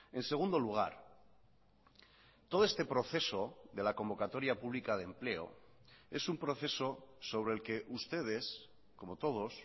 en segundo lugar todo este proceso de la convocatoria pública de empleo es un proceso sobre el que ustedes como todos